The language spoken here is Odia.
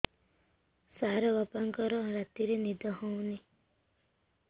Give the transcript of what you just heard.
ସାର ବାପାଙ୍କର ରାତିରେ ନିଦ ହଉନି